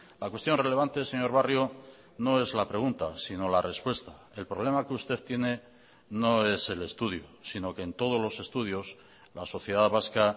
la cuestión relevante señor barrio no es la pregunta sino la respuesta el problema que usted tiene no es el estudio sino que en todos los estudios la sociedad vasca